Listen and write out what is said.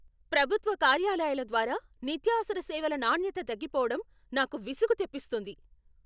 ప్రభుత్వ కార్యాలయాల ద్వారా నిత్యావసర సేవల నాణ్యత తగ్గిపోవడం నాకు విసుగు తెప్పిస్తుంది.